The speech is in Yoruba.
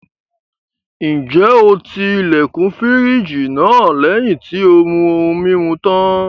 Ǹjẹ́ o ti ilẹ̀kùn fírìjì náà lẹ́yìn tí ó mú ohun-mimu tán?